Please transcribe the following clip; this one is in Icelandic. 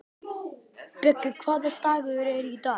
Bjöggi, hvaða dagur er í dag?